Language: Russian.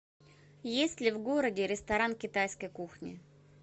есть ли в городе ресторан китайской кухни